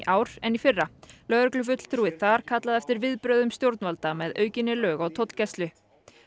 ár en í fyrra lögreglufulltrúi þar kallaði eftir viðbrögðum stjórnvalda með aukinni lög og tollgæslu